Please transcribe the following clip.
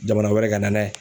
Jamana wɛrɛ ka na n'a ye.